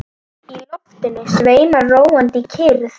Í loftinu sveimar róandi kyrrð.